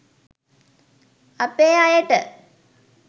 අපේ අයට